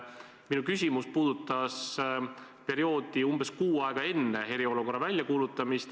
Minu küsimus puudutas perioodi umbes kuu aega enne eriolukorra väljakuulutamist.